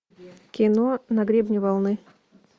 кино на гребне волны